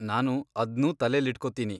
ನಾನು ಅದ್ನೂ ತಲೆಲಿಟ್ಕೊತೀನಿ.